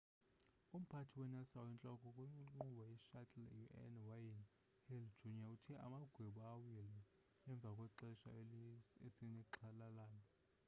umphathi we-nasa oyintloko kwinkqubo ye-shuttle un.wayne hale jr. uthe amagwebu awile emva kwexesha esinexhala lalo.